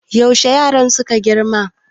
yaushe yaran suka girma